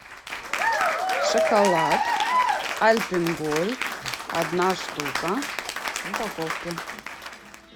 шоколад альпен гольд одна штука в упаковке